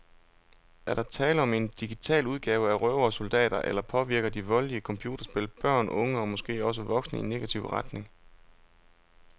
Er der tale om en digital udgave af røvere og soldater, eller påvirker de voldelige computerspil børn, unge og måske også voksne i negativ retning?